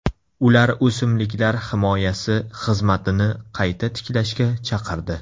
Ular o‘simliklar himoyasi xizmatini qayta tiklashga chaqirdi.